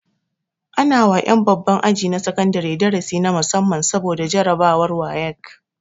Ana wa ƴan babban aji na sakandare darasi na musamman saboda jarabawar wayek